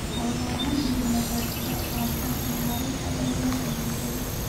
Xayawaanadani waxay ka qayb qaataan horumarinta daryeelka bulshada.